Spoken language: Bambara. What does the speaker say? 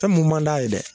Fɛn mun man d'a ye dɛ